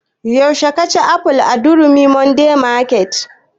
Yaushe ka ci aful a durumi modern market?